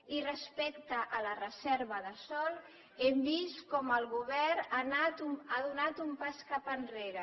i respecte a la reserva de sòl hem vist com el govern ha donat un pas cap enrere